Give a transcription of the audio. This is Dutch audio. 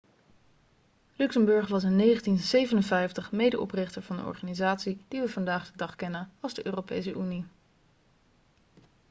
luxemburg was in 1957 medeoprichter van de organisatie die we vandaag de dag kennen als de europese unie